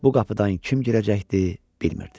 Bu qapıdan kim girəcəkdi, bilmirdi.